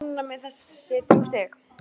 Ég er bara ánægð með þessi þrjú stig.